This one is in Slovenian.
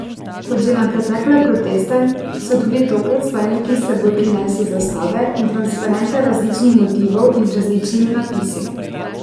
Kot že na pretekle proteste so tudi tokrat vstajniki s seboj prinesli zastave in transparente različnih motivov in z različnimi napisi.